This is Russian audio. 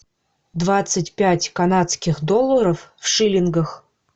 двадцать пять канадских долларов в шиллингах